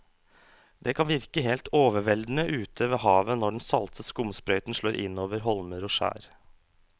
Det kan virke helt overveldende ute ved havet når den salte skumsprøyten slår innover holmer og skjær.